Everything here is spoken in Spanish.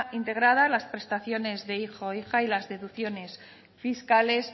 integrada las prestaciones de hijo o hija y las deducciones fiscales